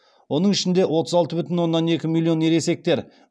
оның ішінде отыз алты бүтін оннан екі миллион ересектер